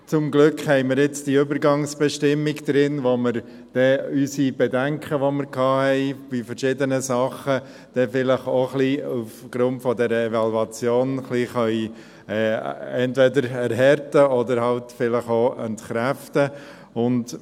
Zum Glück haben wir jetzt diese Übergangsbestimmung drin, womit wir dann unsere Bedenken, die wir bei verschiedenen Dingen hatten, vielleicht auch aufgrund dieser Evaluation, entweder ein wenig erhärten oder halt vielleicht auch entkräften können.